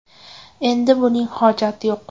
Endi buning hojati yo‘q.